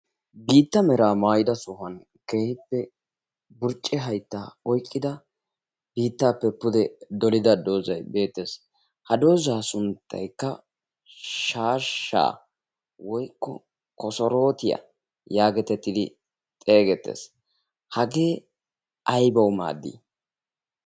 Biittaa meraa maayida sohuwan keehippe burcce haytta oyqqida biittappe pude dolida doozzay beettees. Ha doozaa sunttaykka shaashshaa woykko kosorotiyaa geetettidi xeesseettees. Hagee aybawu maadi?